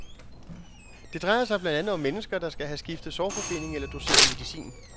Det drejer sig blandt andet om mennesker, der skal have skiftet sårforbinding eller doseret medicin.